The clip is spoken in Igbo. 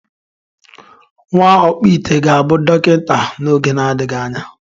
Nwa ọkpụite ga-abụ dọkịta n’oge na-adịghị anya